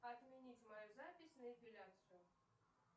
отменить мою запись на эпиляцию